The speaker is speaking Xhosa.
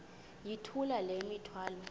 yithula le mithwalo